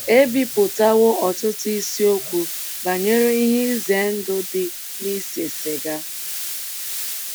ebipụtawo ọtụtụ isiokwu banyere ihe ize ndụ dị n’ise siga. ”